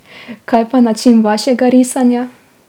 Kaj pa način vašega risanja?